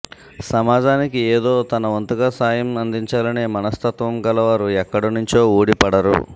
సమాజానికి ఏదో తనవంతుగా సాయం అందించాలనే మనస్తత్వం గలవారు ఎక్కడినుంచో ఊడిపడరు